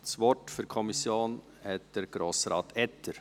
Das Wort für die Kommission hat Grossrat Etter.